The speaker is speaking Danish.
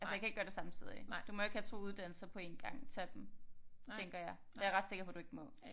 Altså jeg kan ikke gøre det samtidigt du må jo ikke have 2 uddannelser på 1 gang tage dem tænker jeg det er jeg ret sikker på du ikke må